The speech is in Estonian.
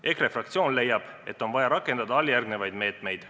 EKRE fraktsioon leiab, et on vaja rakendada järgmisi meetmeid.